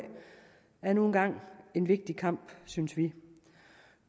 er nu engang en vigtig kamp synes vi